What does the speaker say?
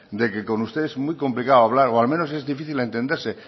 de que con ustedes es muy complicado hablar o al menos es difícil entenderse